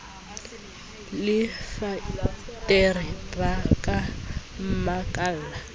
le fatere ba ka mmakalla